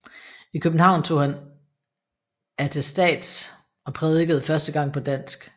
I København tog han attestats og prædikede første gang på dansk